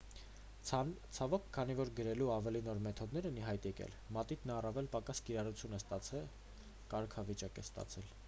ցավոք քանի որ գրելու ավելի նոր մեթոդներ են ի հայտ եկել մատիտն առավել պակաս կիրառություն և ցածր կարգավիճակ է ստացել